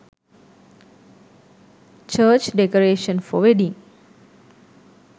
church decoration for wedding